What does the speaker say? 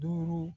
Duuru